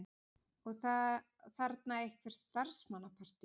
Og þarna eitthvert starfsmannapartí.